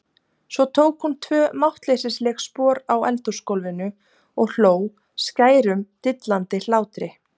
Svo tók hún tvö máttleysisleg spor á eldhúsgólfinu og hló skærum dillandi hlátri.